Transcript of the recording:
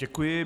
Děkuji.